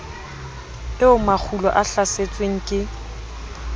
eo makgulo a hlasetsweng ke